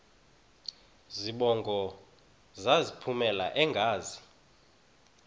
zibongo zazlphllmela engazi